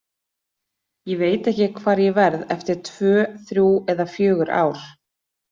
Ég veit ekki hvar ég verð eftir tvö, þrjú eða fjögur ár.